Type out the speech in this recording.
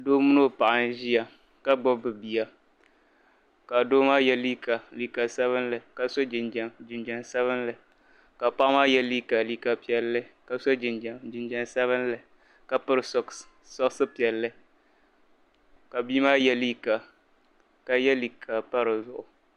Doo mini o paɣa n ʒiya ka gbubi bi' Bia ka doo ma ye liiga liiga sabinli ka paɣa ma ye liiga liiga piɛlli ka so jinjam sabinli ka piri "socks" piɛlli ka bi'maa ye liiga ka ye liiga pa dizuɣu.